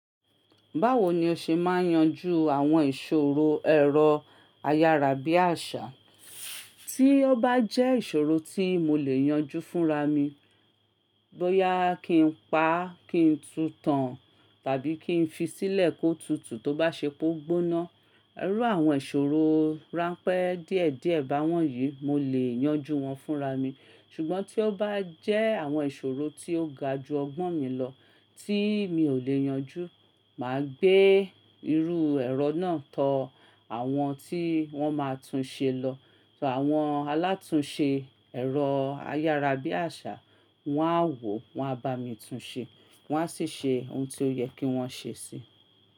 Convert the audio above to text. Báwo ni o ṣe máa yanju àwọn ìṣòro ẹ̀rọ ayárabíàṣá? Tí ó bá jẹ́ ìṣòro tí mo lè yanjú fúnra mi, bóyá kí n pa á, kí n tutàn, tàbí kí n fi sílẹ̀ kó tutù tó bá ṣe pé ó gbóná. Iru àwọn ìṣòro ránpẹ́ díẹ̀díẹ̀ bá wọ́n yìí, mo lè yanjú wọn fúnra mi. Ṣùgbọ́n tí ó bá jẹ́ àwọn ìṣòro tí ó ga ju ọgbọ́n mi lọ tí mi ò lè yanjú, mà á gbé irú ẹ̀rọ náà tọ àwọn tí wọ́n máa tún ṣe lọ. Àwọn alátúnṣe ẹ̀rọ ayárabíàṣá, wọ́n á wò ó, wọ́n á bá mi tún ṣe, wọ́n á sì ṣe oun tí ó yẹ kí wọ́n ṣe sí.